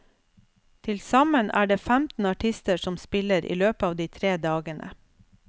Til sammen er det femten artister som spiller i løpet av de tre dagene.